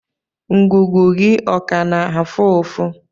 Ngụgụ gị ọ ka na-afụ ụfụ?